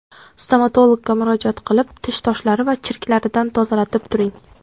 Stomatologga murojaat qilib, tish toshlari va chirklaridan tozalatib turing.